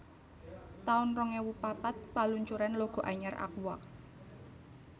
taun rong ewu papat Paluncuran logo anyar Aqua